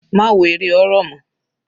Má wo eré horror mọ́.